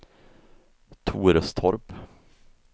Torestorp